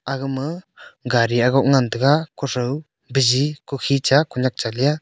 agaa ma gari agok ngan taiga kutho biji kukhincha kunyak cha le a.